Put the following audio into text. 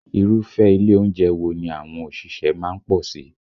Irúfẹ́ ilé oúnjẹ wo ni àwọn òṣìṣẹ́ má ń pọ̀ sí?